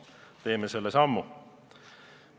Teeme selle sammu.